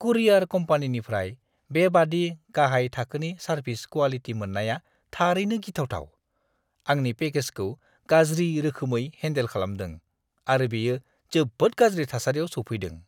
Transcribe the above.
कुरियार कम्पानिनिफ्राय बेबादि गाहाय थाखोनि सारभिस क्वालिटि मोननाया थारैनो गिथावथाव। आंनि पेकेजखौ गाज्रि रोखोमै हेनदेल खालामदों आरो बेयो जोबोद गाज्रि थासारिआव सौफैदों।